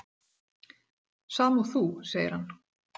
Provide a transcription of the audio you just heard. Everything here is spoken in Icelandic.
"""Sama og þú, segir hann."""